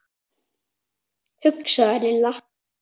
hugsaði Lilla.